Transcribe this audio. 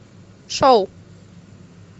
шоу